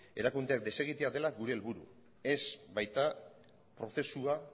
erakundeak desegitea dela gure helburu ez baita prozesua